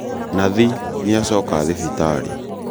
Nathi nĩacoka thibitarĩ